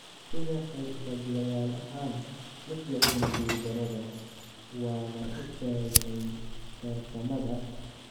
Sida xirfadlayaal ahaan, ma jeclin guuldarrada, waana u tagnay tartamada.